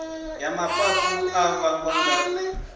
ya mafhafhu a vhangwa nga